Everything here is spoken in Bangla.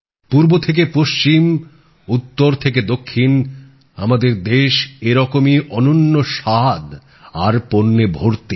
পূর্ব থেকে পশ্চিম উত্তর থেকে দক্ষিণ আমাদের দেশ এরকমই অনন্য স্বাদ আর পণ্যে ভর্তি